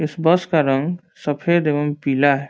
इस बस का रंग सफ़ेद एवं पीला है।